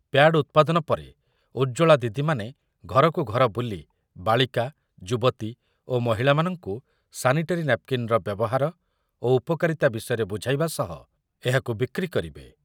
Pad ଉତ୍ପାଦନ ପରେ ଉଜ୍ଜ୍ବଳା ଦିଦିମାନ ଘରକୁ ଘର ବୁଲି ବାଳିକା, ଯୁବତୀ ଓ ମହିଳାମାନଙ୍କୁ ସାନିଟାରୀ ନାପ୍କିନ୍‌ର ବ୍ୟବହାର ଓ ଉପକାରିତା ବିଷୟରେ ବୁଝାଇବା ସହ ଏହାକୁ ବିକ୍ରି କରିବେ ।